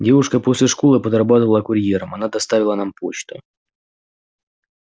девушка после школы подрабатывала курьером она доставила нам почту